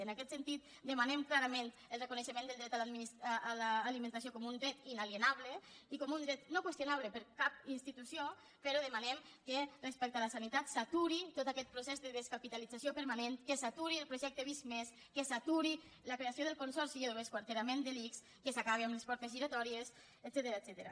en aquest sentit demanem clarament el reconeixement al dret a l’alimentació com un dret inalienable i com un dret no qüestionable per cap institució però demanem que respecte a la sanitat s’aturi tot aquest procés de descapitalització permanent que s’aturi el projecte visc+ que s’aturi la creació del consorci i l’esquarterament de l’ics que s’acabi amb les portes giratòries etcètera